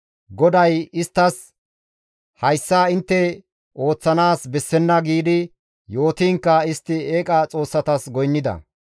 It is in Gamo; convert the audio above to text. GODAY isttas, «Hayssa intte ooththanaas bessenna» giidi yootiinkka istti eeqa xoossatas goynnida.